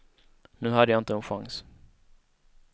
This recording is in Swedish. Nu hade jag inte en chans.